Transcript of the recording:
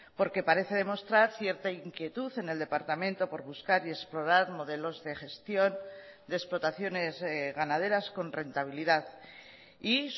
porque parece demostrar cierta inquietud en el departamento por buscar y explorar modelos de gestión de explotaciones ganaderas con rentabilidad y